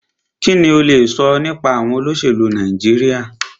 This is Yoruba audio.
Kínní o lè sọ nípa àwọn olóṣèlú Nàìjíríà?